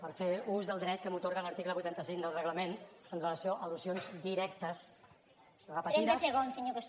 per fer ús del dret que m’atorga l’article vuitanta cinc del reglament amb relació a al·lusions directes repetides